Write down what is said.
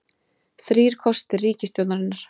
Þrír kostir ríkisstjórnarinnar